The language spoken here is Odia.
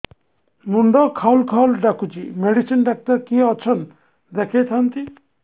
ମୁଣ୍ଡ ଖାଉଲ୍ ଖାଉଲ୍ ଡାକୁଚି ମେଡିସିନ ଡାକ୍ତର କିଏ ଅଛନ୍ ଦେଖେଇ ଥାନ୍ତି